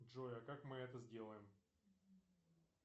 джой а как мы это сделаем